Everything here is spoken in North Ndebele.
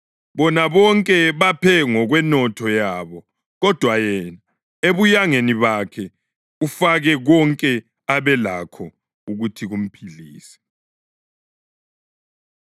Bona bonke baphe ngokwenotho yabo, kodwa yena, ebuyangeni bakhe ufake konke abelakho ukuthi kumphilise.”